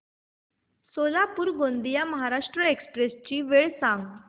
Solapur Gondia Maharashtra express ची वेळ सांगा